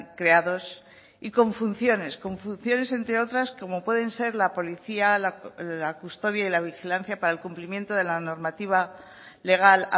creados y con funciones con funciones entre otras como pueden ser la policía la custodia y la vigilancia para el cumplimiento de la normativa legal